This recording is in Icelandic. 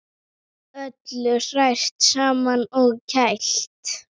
Öllu hrært saman og kælt